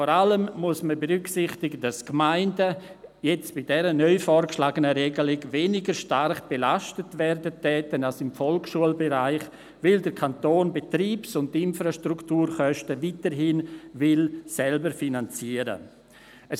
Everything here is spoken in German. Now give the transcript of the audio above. Vor allem muss man berücksichtigen, dass die Gemeinden jetzt bei der neu vorgeschlagenen Regelung weniger stark belastet werden als im Volksschulbereich, weil der Kanton die Betriebs- und Infrastrukturkosten weiterhin selber finanzieren will.